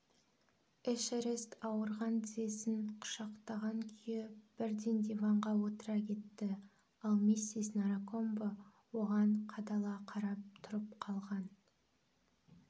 эшерест ауырған тізесін құшақтаған күйі бірден диванға отыра кетті ал миссис наракомбо оған қадала қарап тұрып қалған